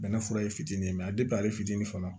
Bɛnɛ fura ye fitinin ye ale fitinin fana